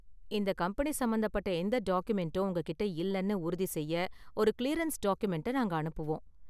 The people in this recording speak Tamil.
இந்த கம்பெனி சம்பந்தப்பட்ட எந்த டாக்குமென்டும் உங்ககிட்ட இல்லைனு உறுதி செய்ய ஒரு கிளியரென்ஸ் டாக்குமென்ட்டை நாங்க அனுப்புவோம்.